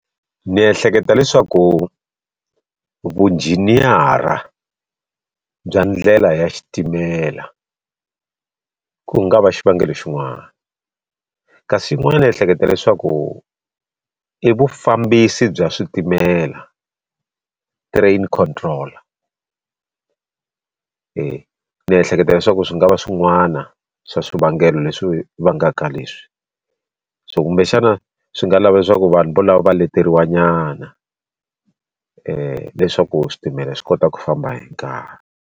Ni ehleketa leswaku vujiniyara bya ndlela ya xitimela ku nga va xivangelo xin'wana kasi yin'wana ni ehleketa leswaku i vufambisi bya switimela train control ni ehleketa leswaku swi nga va swin'wana swa swivangelo leswi vangaka leswi so kumbexana swi nga lava leswaku vanhu volava va leteriwa nyana leswaku switimela swi kota ku famba hi nkarhi.